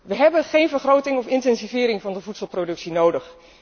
We hebben geen vergroting of intensivering van de voedselproductie nodig.